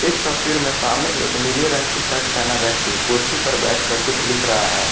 इस तस्वीर में सामने एक नीले रंग की शर्ट पहने व्यक्ति कुर्सी पर बैठकर कुछ लिख रहा है।